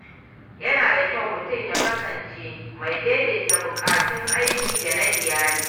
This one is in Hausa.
Yana da kyau mutum ya kasance mai daidaita buƙatun aiki da na iyali.